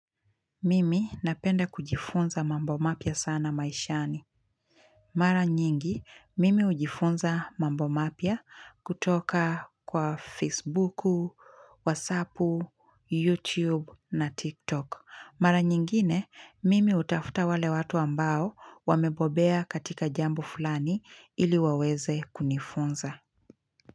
Mimi napenda kujifunza mambo mapia sana maishani. Mara nyingi, mimi hujifunza mambo mapya kutoka kwa Facebook, WhatsApp, YouTube na TikTok. Mara nyingine, mimi hutafuta wale watu ambao wamebobea katika jambo fulani ili waweze kunifunza.